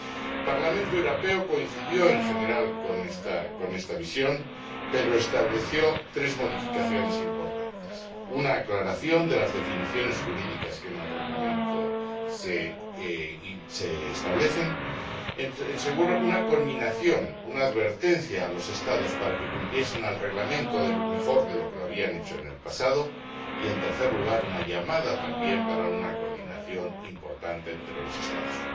El Parlamento Europeo coincidió, en general, con esta visión pero estableció tres modificaciones importantes una aclaración de las definiciones jurídicas que en el Reglamento se establecen, una conminación o una advertencia a los Estados para que cumpliesen el Reglamento mejor de lo que lo habían hecho en el pasado y, en tercer lugar, una llamada también a una coordinación importante entre los Estados.